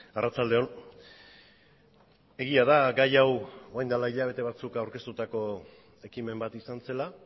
arratsalde on egia da gai hau orain dela hilabete batzuk aurkeztutako ekimen bat izan zela